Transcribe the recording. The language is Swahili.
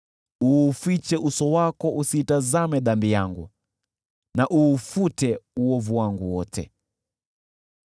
Ufiche uso wako usizitazame dhambi zangu, na uufute uovu wangu wote.